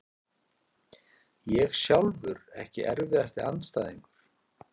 ég sjálfur Ekki erfiðasti andstæðingur?